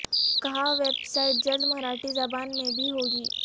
کہا website جلد مراٹھی زبان میں بھی ہوگی